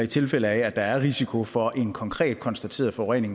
tilfælde af at der er risiko for en konkret konstateret forurening